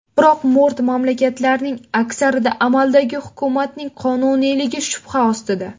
Biroq mo‘rt mamlakatlarning aksarida amaldagi hukumatning qonuniyligi shubha ostida.